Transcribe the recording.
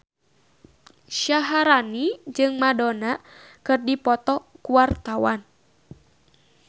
Syaharani jeung Madonna keur dipoto ku wartawan